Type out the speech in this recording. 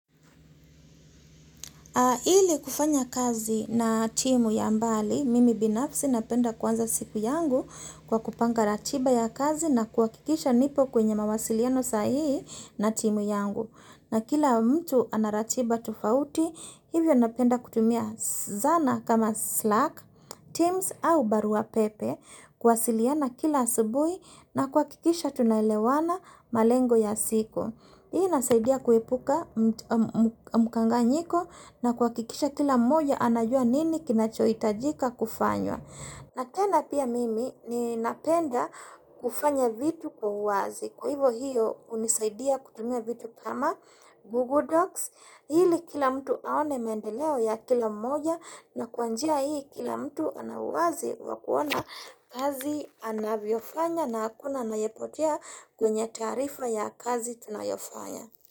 Ili kufanya kazi na timu ya mbali, mimi binafsi napenda kuanza siku yangu kwa kupanga ratiba ya kazi na kuhakikisha nipo kwenye mawasiliano sahihi na timu yangu. Na kila mtu ana ratiba tofauti, hivyo napenda kutumia zana kama Slack, Teams au barua pepe kuwasiliana kila asubuhi na kuhakikisha tunaelewana malengo ya siku. Hii inasaidia kuepuka mkanganyiko na kuhakikisha kila mmoja anajua nini kinachohitajika kufanywa. Na tena pia mimi ninapenda kufanya vitu kwa uwazi. Kwa hivo hiyo hunisaidia kutumia vitu kama Google Docs. Ili kila mtu aone maendeleo ya kila mmoja na kwa njia hii kila mtu ana uwazi wa kuona kazi anavyofanya na hakuna anayepotea kwenye taarifa ya kazi tunayofanya.